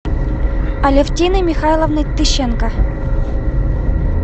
алевтины михайловны тыщенко